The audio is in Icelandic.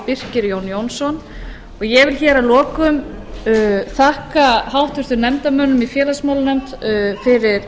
birkir j jónsson ég vil hér að lokum þakka háttvirtum nefndarmönnum í félagsmálanefnd fyrir